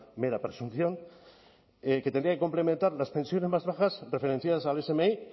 mera presunción que tendrían que complementar las pensiones más bajas referenciadas al smi